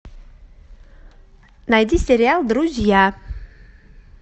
найди сериал друзья